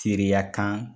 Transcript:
Teriya kan